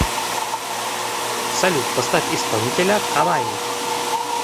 салют поставь исполнителя каваи